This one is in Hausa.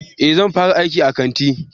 Eh zan fara aiki a kanti